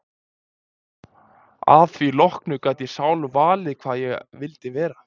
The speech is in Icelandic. Að því loknu gat ég sjálf valið hvað ég vildi vera.